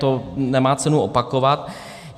To nemá cenu opakovat.